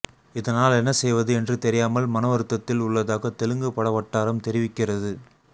இதனால் என்னசெய்வது என்று தெரியாமல் மனவருத்தத்தில் உள்ளதாக தெலுங்கு படவட்டாரம் தெரிவிக்கிறது